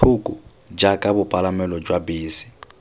thoko jaaka bopalamelo jwa bese